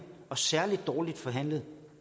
og særlig dårligt forhandlet